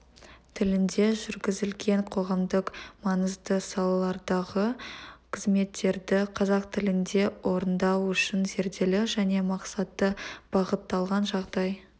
тілінде жүргізілген қоғамдық маңызды салалардағы қызметтерді қазақ тілінде орындау үшін зерделі және мақсатты бағытталған жағдай